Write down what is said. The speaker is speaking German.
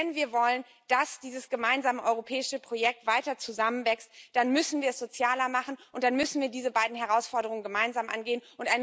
Wenn wir wollen, dass dieses gemeinsame europäische Projekt weiter zusammenwächst, dann müssen wir es sozialer machen, und dann müssen wir diese beiden Herausforderungen gemeinsam angehen.